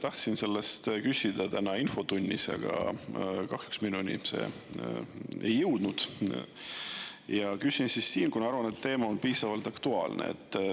Tahtsin seda küsida täna infotunnis, aga kahjuks minuni ei jõudnud, ja küsin siis siin, kuna arvan, et teema on piisavalt aktuaalne.